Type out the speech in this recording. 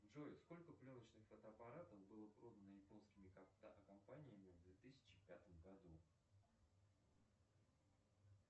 джой сколько пленочных фотоаппаратов было продано японскими компаниями в две тысячи пятом году